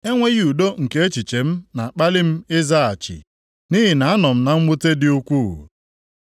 “Enweghị udo nke echiche m na-akpali m izaghachi nʼihi na anọ m na mwute dị ukwuu.